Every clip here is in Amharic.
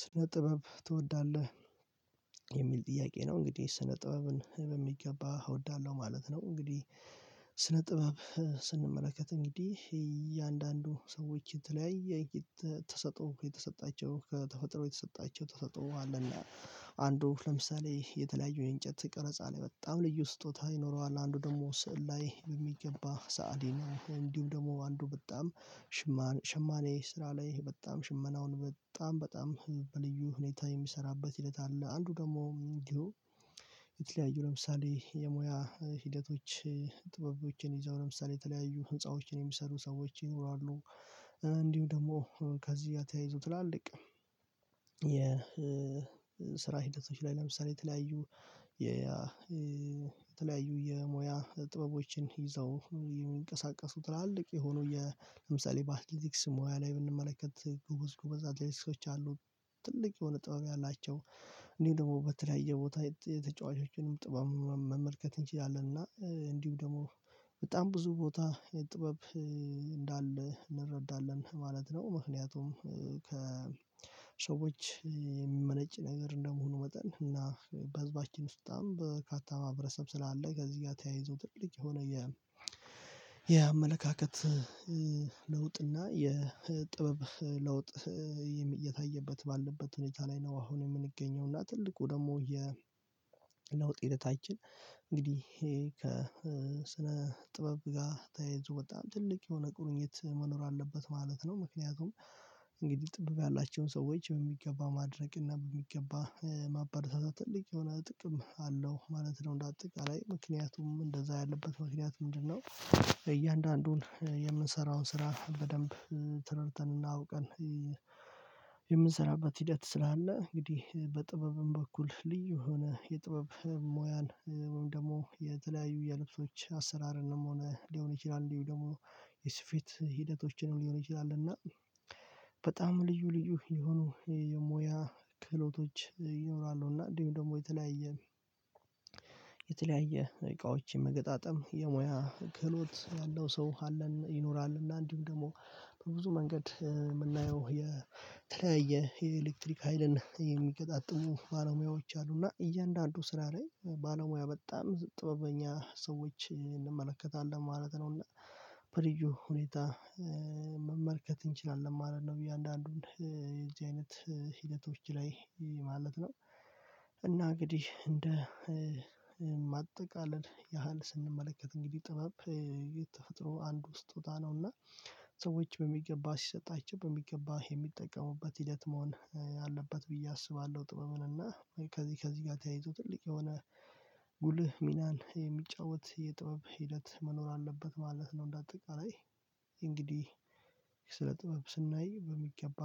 ስነ ጥበብ ትወዳለህ የሚል ጥያቄ ነው? እንግዲህ ስነ ጥበብን በሚገባ እወዳለሁ ማለት ነው። እንግዲህ ስነ ጥበብ ስንመለከት እንግዲህ እያንዳንዱ ሰዎች የተለያየ የተሰጥኦ የተሰጣቸው ከተፈጥሮ የተሰጣቸው ተሰጥኦ አለና። አንዱ ለምሳሌ የተለያዩ የእንጨት ቀረጻ ላይ በጣም ልዩ ስጦታ ይኖረዋል አንዱ ደግሞ ስዕል ላይ በሚገባ ሰአሊ ነው። እንዲሁ ደግሞ አንዱ በጣም ሽማን ሽማኔ ስራ ላይ በጣም ሽመናውን በጣም በጣም በልዩ ሁኔታ የሚሰራበት ሂደት አለ። አንዱ ደግሞ እንዲሁ የተለያዩ ለምሳሌ የሙያ ሂደቶች ጥበቦችን ይዘው ለምሳሌ የተለያዩ ህንፃዎችን የሚሰሩ ሰዎች ይኖራሉ። እንዲሁ ደግሞ ከዚህጋ ተያይዘው ትላልቅ የስራ ሂደቶች ላይ ለምሳሌ የተለያዩ የተለያዩ የሞያ ጥበቦችን ይዘው የሚንቀሳቀሱ ትላልቅ የሆኑ የምሳሌ በአትሌቲክስ ሙያ ላይ ብንመለከት ጎበዝ ጎበዝ አትሌቲኮች አሉ። ትልቅ የሆነ ጥበብ ያላቸው። እንዲሁ ደግሞ በተለያየ ቦታ የተጫዋቾችንም ጥበብ መመልከት እንችላለን እና እንዲሁ ደግሞ በጣም ብዙ ቦታ ጥበብ እንዳለ እንረዳለን ማለት ነው። ምክንያቱም ከሰዎች የሚመነጭ ነገር እንደመሆኑ መጠን እና በህዝባችን ውስጥ በጣም በካታ ማህበረሰብ ስላለ ከዚህ ጋር ተያይዞ ትልቅ የሆነ የ የአመለካከት ለውጥ እና የጥበብ ለውጥ የታየበት ባለበት ሁኔታ ላይ ነው። አሁን የምንገኘው እና ትልቁ ደግሞ የ ለውጥ ሂደታችን። እንግዲህ ከስነ ጥበብ ጋር ተያይዞ በጣም ትልቅ የሆነ ቁርኝት መኖር አለበት ማለት ነው። ምክንያቱም እንግዲህ ጥበብ ያላቸውን ሰዎች በሚገባ ማድነቅ እና በሚገባ ማበራታት ትልቅ የሆነ ጥቅም አለው ማለት ነው። እንደ አጠቃላይ ምክንያቱም እንደዛ ያለበት ምክንያት ምንድነው? እያንዳንዱን የምንሰራውን ስራ በደንብ ተረድተን እና አውቀን የምንሰራበት ሂደት ስላለ እንግዲህ በጥበብም በኩል ልዩ የሆነ የጥበብ ሙያን ወይም ደግሞ የተለያዩ የልብሶች አሰራርንም ሆነ ሊሆን ይችላል እንዲሁ ደግሞ የስፌት ሂደቶችንም ሊሆን ይችላል። እና በጣም ልዩ ልዩ የሆኑ የሙያ ክህሎቶች ይኖራሉ። እና እንዲሁም ደግሞ የተለያየ የተለያየ እቃዎች መገጣጠም የሙያ ክህሎት ያለው ሰው አለን ይኖራል። እና እንዲሁም ደግሞ በብዙ መንገድ የምናየው የተለያየ የኤሌክትሪክ ሀይልን የሚገጣጥሙ ባለሙያዎች አሉና እያንዳንዱ ስራ ላይ ባለሙያ በጣም ጥበበኛ ሰዎች እንመለከታለን ማለት ነው። እና በልዩ ሁኔታ መመልከት እንችላለን ማለት ነው። ብዬ እያንዳንዱን የዚህ አይነት ሂደቶች ላይ ማለት ነው። እና እንግዲህ እንደ ማጠቃለል ያህል ስንመለከት እንግዲህ ጥበብ የተፈጥሮ አንዱ ስጦታ ነው እና ሰዎች በሚገባ ሲሰጣቸው በሚገባ የሚጠቀሙበት ሂደት መሆን አለበት። ብዬ አስባለሁ። ጥበብን እና ከዚህ ከዚህ ጋር ተያይቶ ትልቅ የሆነ ጉልህ ሚናን የሚጫወት የጥበብ ሂደት መኖር አለበት ማለት ነው። እንደ አጠቃላይ እንግዲህ ስለ ጥበብ ስናይ በሚገባ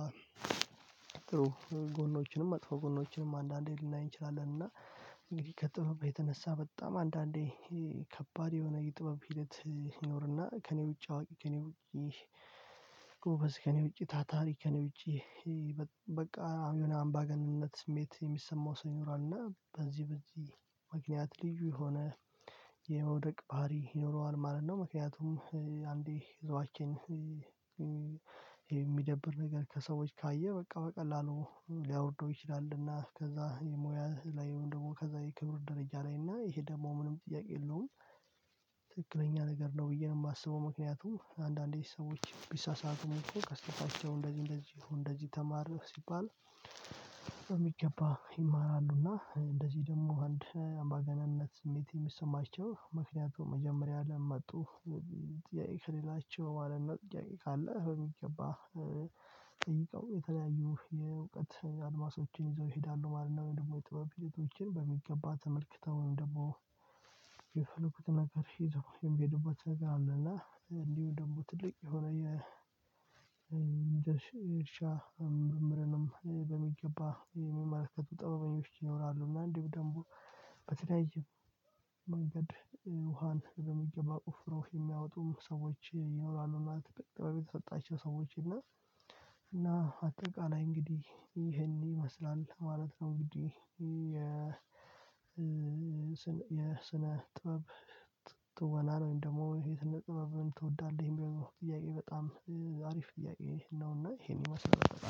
ጥሩ ጎኖችንም መጥፎ ጎኖችንም አንዳንዴ ልናይ እንችላለን። እና እንግዲህ ከጥበብ የተነሳ በጣም አንዳንዴ ከባድ የሆነ የጥበብ ሂደት ይኖርና ከእኔ ውጪ አዋቂ ከእኔ ውጪ ጎበዝ ከእኔ ውጪ ታታሪ ከእኔ ውጪ በቃ የሆነ አምባገነንነት ስሜት የሚሰማው ሰው ይኖራል እና በዚህ በዚህ ምክንያት ልዩ የሆነ የመውደቅ ባህሪ ይኖረዋል ማለት ነው። ምክንያቱም አንዴ ይዘዋችን የሚደብር ነገር ከሰዎች ካየ በቃ በቀላሉ ሊያወርደው ይችላሉና ከዛ የምያ ላይ ወይም ደግሞ ከዛ የክብር ደረጃ ላይ እና ይሄ ደግሞ ምንም ጥያቄ የለውም። ትክክለኛ ነገር ነው ብዬ ነው የማስበው። ምክንያቱም አንዳንዴ ሰዎች ቢሳሳቱም እኮ ከስተታቸው እንደዚህ እንደዚህ እንደዚህ ተማር ሲባል በሚገባ ይማራሉና። እንደዚህ ደግሞ አንድ አምባገነንነት ስሜት የሚሰማቸው ምክንያቱም መጀመሪያ ለምን መጡ? ጥያቄ ከሌላቸው ማለት ነው። ጥያቄ ካለ በሚገባ ጠይቀው የተለያዩ የእውቀት አድማሶችን ይዘው ይሄዳሉ ማለት ነው። ወይም ደግሞ የጥበብ ሂደቶችን በሚገባ ተመልክተው ወይም ደግሞ የፈለጉትን ነገር ሂድ ወይም የሄዱበት ነገር አለ። እንዲሁ ደሞ ትልቅ የሆነ የ እርሻ ምርምርንም በሚገባ የሚመልከቱ ጠበበኞች ይኖራሉ። እና እንዲሁ ደግሞ በተለያየ መንገድ ውሃን በሚገባ ቆፍሮ የሚያወጡም ሰዎች ይኖራሉ። እና ትብቅ ጥበብ የተሰጣቸው ሰዎች እና እና አጠቃላይ እንግዲህ ይሄን ይመስላል ማለት ነው። እንግዲህ የስነ ጥበብ ትወናን ወይም ደግሞ የስነ ጥበብን ትወዳለህ የሚለው ጥያቄ በጣም አሪፍ ጥያቄ ነውና። ይሄን ይመስላል በአጠቃላይ